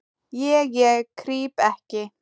Ég, ég krýp ekki.